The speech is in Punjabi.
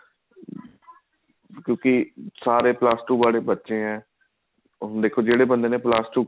ਕਿਉਂਕਿ ਸਾਰੇ plus two ਵਾਲੇ ਬੱਚੇ ਆ ਹੁਣ ਦੇਖੋ ਜਿਹੜੇ ਬੰਦੇ ਨੇ plus two